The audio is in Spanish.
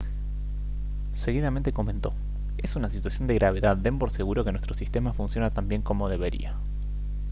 seguidamente comentó: «es una situación de gravedad. den por seguro que nuestro sistema funciona tan bien como debería»